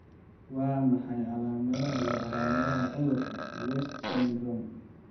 Waa maxay calaamadaha iyo calaamadaha cudurka 'West syndrome'?